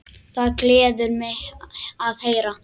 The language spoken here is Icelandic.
Það gleður mig að heyra.